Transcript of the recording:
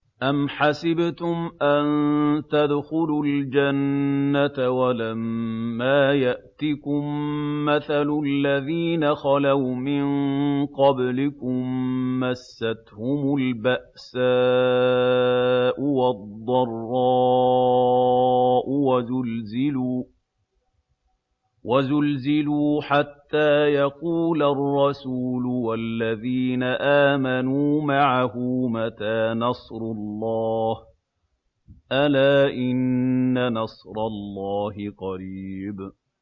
أَمْ حَسِبْتُمْ أَن تَدْخُلُوا الْجَنَّةَ وَلَمَّا يَأْتِكُم مَّثَلُ الَّذِينَ خَلَوْا مِن قَبْلِكُم ۖ مَّسَّتْهُمُ الْبَأْسَاءُ وَالضَّرَّاءُ وَزُلْزِلُوا حَتَّىٰ يَقُولَ الرَّسُولُ وَالَّذِينَ آمَنُوا مَعَهُ مَتَىٰ نَصْرُ اللَّهِ ۗ أَلَا إِنَّ نَصْرَ اللَّهِ قَرِيبٌ